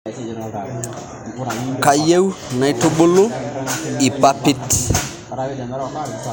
Kayieu naitubulu lpapit